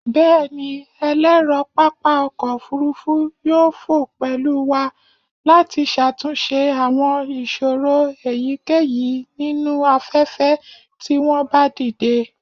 Bẹẹni, ẹlẹrọ papa ọkọ ofurufu yoo fo pẹlu wa lati ṣatunṣe awọn iṣoro eyikeyi ninu afẹfẹ ti wọn ba dide